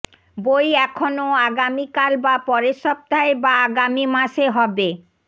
বই এখনও আগামীকাল বা পরের সপ্তাহে বা আগামী মাসে হবে